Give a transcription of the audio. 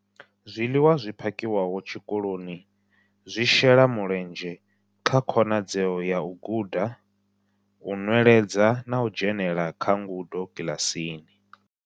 Zwiḽiwa zwi phakhiwaho tshikoloni zwi shela mulenzhe kha khonadzeo ya u guda, u nweledza na u dzhenela kha ngudo kiḽasini.